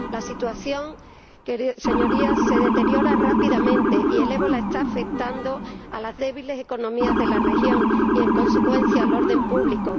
La situación, Señorías, se deteriora rápidamente y el ébola está afectando a las débiles economías de la región y, en consecuencia, al orden público.